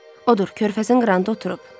Odur, körfəzin qırağında oturub.